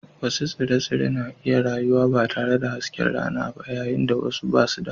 Wasu tsire-tsire suna iya rayuwa ba tare da hasken rana ba yayin da wasu ba su da